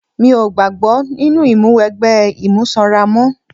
Mi ò gbàgbọ́ nínú ìmúwẹgbẹ́ imú sanra mọ́.